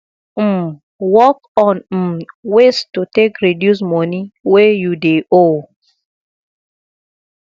um work on um ways to take reduce money wey you dey owe